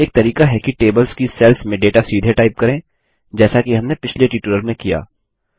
एक तरीका है कि टेबल्स की सेल्स में डेटा सीधे टाइप करें जैसा कि हमने पिछले ट्यूटोरियल में किया